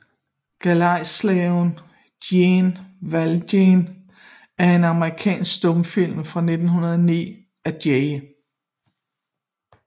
Galejslaven Jean Valjean er en amerikansk stumfilm fra 1909 af J